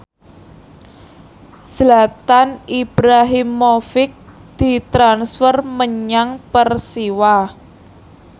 Zlatan Ibrahimovic ditransfer menyang Persiwa